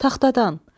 Taxtadan.